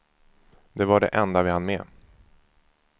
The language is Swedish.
Det var det enda vi hann med.